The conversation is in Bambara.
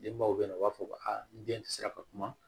Denbaw bɛ yen nɔ u b'a fɔ ko aa ni den tɛ se ka kuma